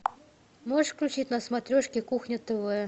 можешь включить на смотрешке кухня тв